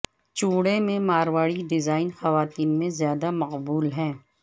چوڑے میں ماروڑی ڈیزائن خواتین میں زیادہ مقبول ہیں